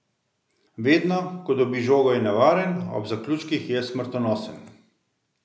Vedno, ko dobi žogo je nevaren, ob zaključkih je smrtonosen.